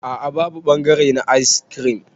A'a babu bangare na ayis kirim.